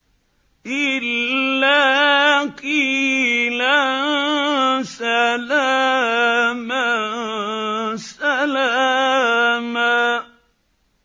إِلَّا قِيلًا سَلَامًا سَلَامًا